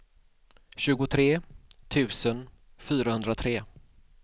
tjugotre tusen fyrahundratre